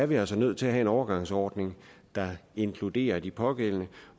vi altså nødt til at have en overgangsordning der inkluderer de pågældende